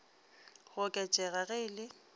go oketšega ge e le